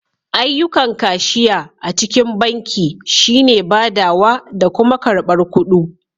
Ayyukan kashiya a cikin banki shi ne badawa da kuma karbar kuɗu.